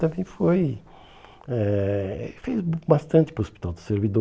Também foi... Eh ele fez bastante para o Hospital do Servidor.